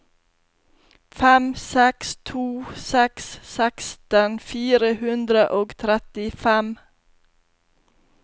fem seks to seks seksten fire hundre og trettifem